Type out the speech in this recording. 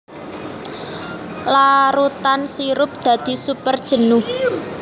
Larutan sirup dadi super jenuh